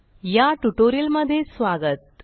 या ट्युटोरियलमधे स्वागत